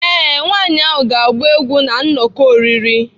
Ee, nwanyị ahụ ga-agba egwu na nnọkọ oriri.